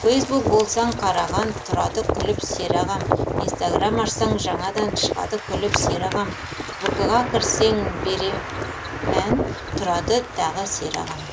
фейсбук болсаң қараған тұрады күліп сері ағам инстаграм ашсаң жаңадан шығады күліп сері ағам вк ға кірсең бере мән тұрады тағы сері ағам